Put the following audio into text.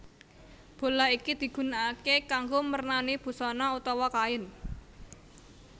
Bolah iki digunakaké kanggo mernani busana utawa kain